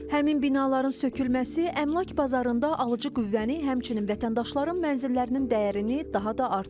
Həmin binaların sökülməsi əmlak bazarında alıcı qüvvəni, həmçinin vətəndaşların mənzillərinin dəyərini daha da artırır.